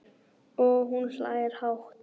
Og hún hlær hátt.